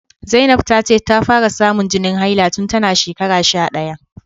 Zainab ta ce ta fara samun jinin haila tun tana shekara sha daya